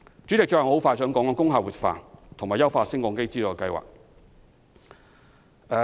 主席，最後我想談談工廈活化和優化升降機資助計劃。